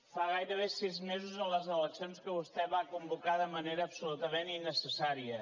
fa gairebé sis mesos de les eleccions que vostè va convocar de manera absolutament innecessària